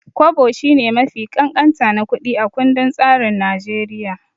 Kwabo shine mafi ƙanƙanta na kuɗi a kundin tsarin Naijeriya.